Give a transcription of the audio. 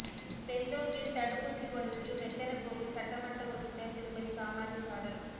பெந்தோங்கில் தடுப்பூசி போடுவதில் மெத்தன போக்கு சட்டமன்ற உறுப்பினர் திருமதி காமாட்சி சாடல்